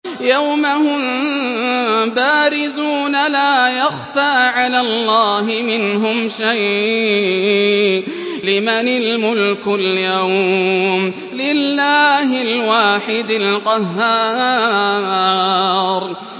يَوْمَ هُم بَارِزُونَ ۖ لَا يَخْفَىٰ عَلَى اللَّهِ مِنْهُمْ شَيْءٌ ۚ لِّمَنِ الْمُلْكُ الْيَوْمَ ۖ لِلَّهِ الْوَاحِدِ الْقَهَّارِ